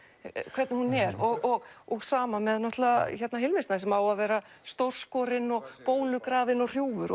hvernig hún er og og sama með Hilmi Snæ sem á að vera stórskorinn og bólugrafinn og hrjúfur